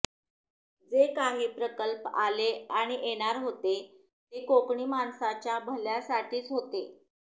जे काही प्रकल्प आले आणि येणार होते ते कोकणी माणसाच्या भल्यासाठीच होते